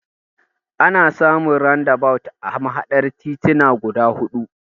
Ana samun randabawut a mahaɗar tituna guda huɗu.